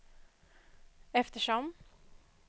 eftersom